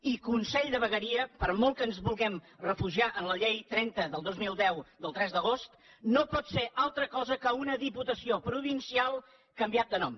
i consell de vegueria per molt que ens vulguem refugiar en la llei trenta dos mil deu del tres d’agost no pot ser altra cosa que una diputació provincial canviada de nom